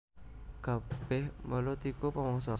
Kabèh welut iku pamangsa